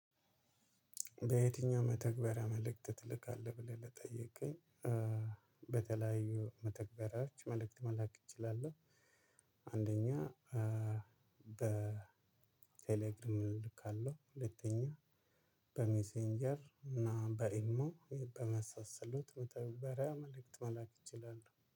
በየትኛው መተግበሪያ መልእክት ትልካለህ ብለህ ለጠይከኝ? በተለያዩ መተግበሪያዎች መልእክት መላክ እችላለሁ። አንደኛ በቴሌግራም እልካለሁ። ሁለተኛ በሜሴንጀር እና በኢሞ በመሳሰሉት መተግበሪያ መልእክት መላክ እችላለሁ